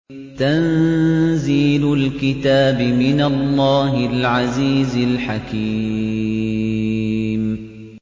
تَنزِيلُ الْكِتَابِ مِنَ اللَّهِ الْعَزِيزِ الْحَكِيمِ